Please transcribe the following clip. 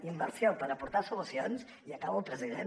inversió per aportar solucions i acabo president